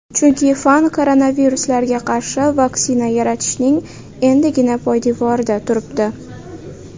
Chunki fan koronaviruslarga qarshi vaksina yaratishning endigina poydevorida turibdi.